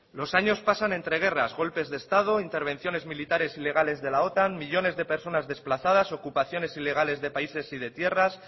los años pasan entre guerras golpes de estado intervenciones militares ilegales de la otan millónes de personas desplazadas ocupaciones ilegales de países y de tierras